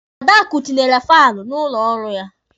Adakụ tinyere faanụ n'ụlọ ọrụ ya.